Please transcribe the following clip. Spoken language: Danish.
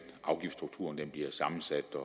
afgiftsstrukturen bliver sammensat og